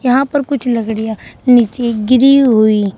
यहां पर कुछ लकड़िया नीचे गिरी हुई है--